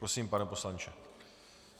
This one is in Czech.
Prosím, pane poslanče.